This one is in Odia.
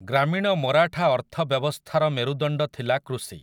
ଗ୍ରାମୀଣ ମରାଠା ଅର୍ଥବ୍ୟବସ୍ଥାର ମେରୁଦଣ୍ଡ ଥିଲା କୃଷି ।